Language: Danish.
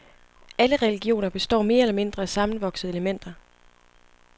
Alle religioner består mere eller mindre af sammenvoksede elementer.